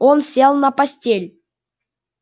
он сел на постель